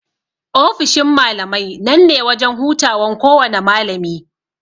Ofishin malamai nan ne wajan hutawan kowana malami.